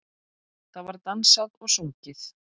Það var dansað og sungið.